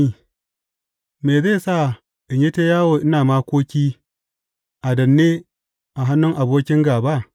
Me zai sa in yi ta yawo ina makoki, a danne a hannun abokin gāba?